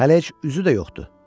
Hələ heç üzü də yoxdur.